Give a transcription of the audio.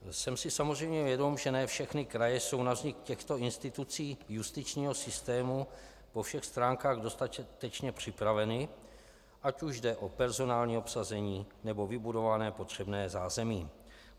Jsem si samozřejmě vědom, že ne všechny kraje jsou na vznik těchto institucí justičního systému po všech stránkách dostatečně připraveny, ať už jde o personální obsazení, nebo vybudované potřebné zázemí.